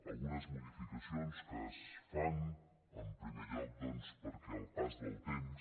algunes modificacions que es fan en primer lloc doncs perquè el pas del temps